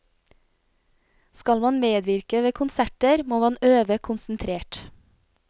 Skal man medvirke ved konserter, må man øve konsentrert.